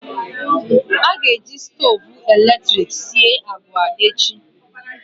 Ị ga-eji stoovu eletrik sie agwa echi?